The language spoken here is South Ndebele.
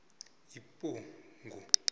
ephugu